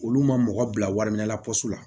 Olu ma mɔgɔ bila wari minɛ la la